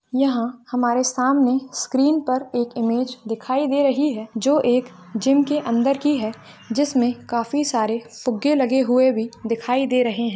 यहाँ हमारे सामने स्क्रीन पर एक इमेज दिखाई दे रही है जो एक जिम के अंदर की है जिस मे काफी सारे फुग्गे लगे हुए भी दिखाई दे रहे है।